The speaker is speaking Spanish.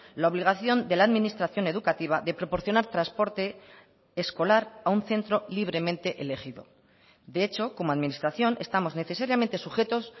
la obligación de la administración educativa de proporcionar transporte escolar a un centro libremente elegido de hecho como administración estamos necesariamente sujetos